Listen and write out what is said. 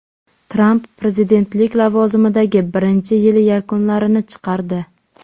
Tramp prezidentlik lavozimidagi birinchi yili yakunlarini chiqardi.